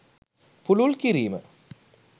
පුළුල් කිරීම